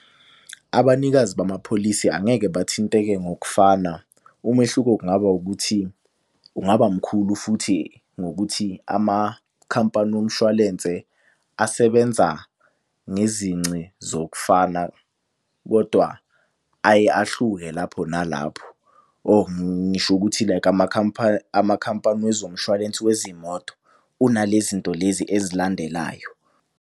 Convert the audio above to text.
Abanikazi bamapholisi angeke bathinteke ngokufana umehluko kungaba ukuthi ungaba mkhulu futhi ngokuthi amakhampani womshwalense asebenza ngezinci zokufaka. Kodwa aye ahluke lapho nalapho or ngisho ukuthi like amakhampani wezomshwalensi wezimoto unalezi nto lezi ezilandelayo.